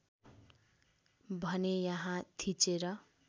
भने यहाँ थिचेर